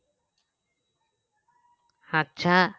আচ্ছা